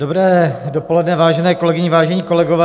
Dobré dopoledne, vážené kolegyně, vážení kolegové.